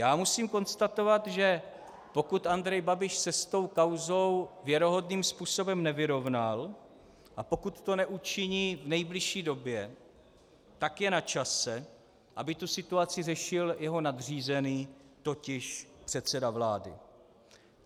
Já musím konstatovat, že pokud Andrej Babiš se s tou kauzou věrohodným způsobem nevyrovnal a pokud to neučiní v nejbližší době, tak je na čase, aby tu situaci řešil jeho nadřízený, totiž předseda vlády.